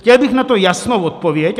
Chtěl bych na to jasnou odpověď.